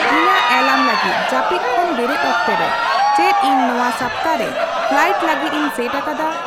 ᱤᱧᱟᱹᱜ ᱮᱞᱟᱨᱢ ᱞᱟᱹᱜᱤᱫ ᱡᱟᱹᱯᱤᱫ ᱠᱷᱚᱱ ᱵᱮᱨᱮᱫ ᱚᱠᱛᱮ ᱨᱮ ᱪᱮᱫ ᱤᱧ ᱱᱚᱶᱟ ᱥᱟᱯᱛᱟ ᱨᱮ ᱯᱷᱮᱞᱟᱭᱤᱴ ᱞᱟᱹᱜᱤᱫ ᱤᱧ ᱥᱮᱴ ᱟᱠᱟᱫᱟ